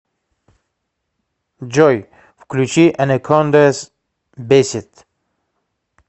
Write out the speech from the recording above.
джой включи анакондаз бесит